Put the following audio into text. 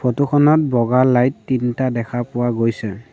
Photo খনত বগা light তিনটা দেখা পোৱা গৈছে।